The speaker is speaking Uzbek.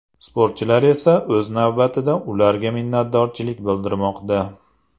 Sportchilar esa, o‘z navbatida, ularga minnatdorchilik bildirmoqda.